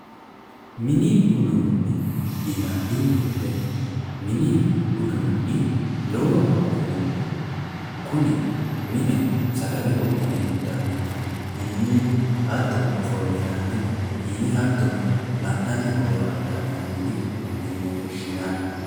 Mini uduune yinanni woyite mini uduunni lowo horo afirino kuni mine sagale wodhine initannihu hattono ofolina hattono la'nanni bohaaranniha mini uduune yine woshinanni